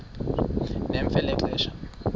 nemfe le xa